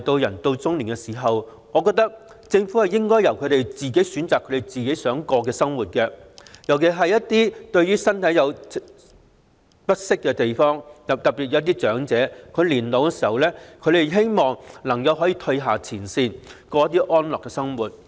人到老年，我認為政府應該讓他們選擇自己想過的生活，尤其是一些身體不適的長者，他們在年老時希望能夠從前線退下，過安樂的生活。